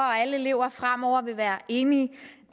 og alle elever fremover vil være enige